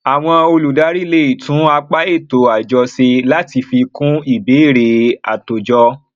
àwọn olùdarí lè tún apá ètò àjọ ṣe láti fi kún ìbéèrè àtòjọ